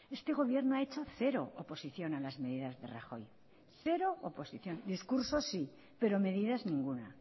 este gobierno ha hecho cero oposición a las medidas de rajoy cero oposición discursos sí pero medidas ninguna